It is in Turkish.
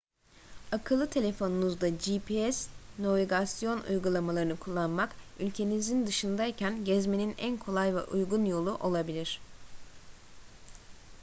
akıllı telefonunuzda gps navigasyon uygulamalarını kullanmak ülkenizin dışındayken gezmenin en kolay ve uygun yolu olabilir